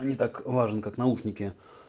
не так важен как наушники